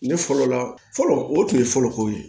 Ne fɔlɔ la fɔlɔ o tun ye fɔlɔko ye